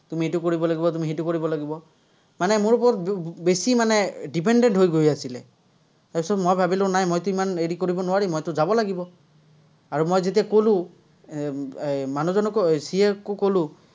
তুমি এইটো কৰিব লাগিব, তুমি সেইটো কৰিব লাগিব। মানে মোৰ ওপৰত বেছি মানে dependant হৈ গৈ আছিলে। তাৰপিছত মই ভাৱিলো নাই মইতো ইমান হেৰি কৰিব নোৱাৰিম, মইতো যাব লাগিব। আৰু মই যেতিয়া কলো, এৰ মানুহজনকও CA কো ক'লো,